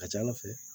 Ka ca ala fɛ